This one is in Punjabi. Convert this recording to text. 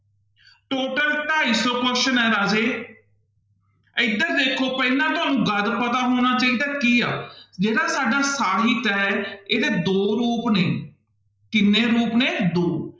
Total ਢਾਈ ਸੌ question ਹੈ ਰਾਜੇ ਇੱਧਰ ਦੇਖੋ ਪਹਿਲਾਂ ਤੁਹਾਨੂੰ ਗਦ ਪਤਾ ਹੋਣਾ ਚਾਹੀਦਾ ਹੈ ਕੀ ਹੈ ਜਿਹੜਾ ਸਾਡਾ ਸਾਹਿਤ ਹੈ ਇਹਦੇ ਦੋ ਰੂਪ ਨੇ, ਕਿੰਨੇ ਰੂਪ ਨੇ ਦੋ।